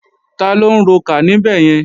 Taló ń rokà níbẹ̀yẹn?